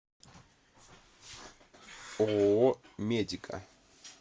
ооо медика